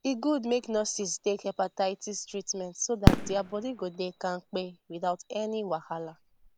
e good make nurses take hepatitis treatment so that their body go dey kampe without any wahala